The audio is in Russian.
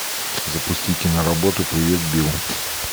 запусти киноработу привет билл